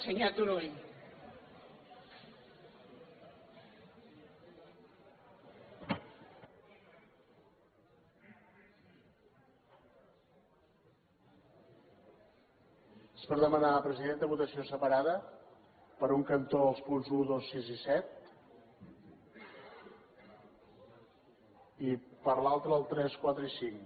és per demanar presidenta votació separada per un cantó els punts un dos sis i set i per l’altre els tres quatre i cinc